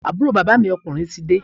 Àbúrò bàbá mi ọ̣kùnrin ti dé